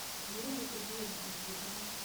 елене сергеевне антипиной